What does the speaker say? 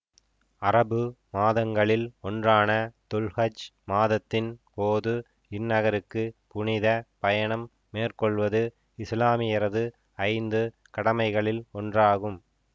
அரபு மாதங்களில் ஒன்றான துல் ஹஜ் மாதத்தின் போது இந்நகருக்கு புனித பயணம் மேற்கொள்வது இசுலாமியரது ஐந்து கடமைகளில் ஒன்றாகும்